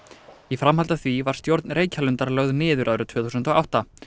í framhaldi af því var stjórn Reykjalundar lögð niður árið tvö þúsund og átta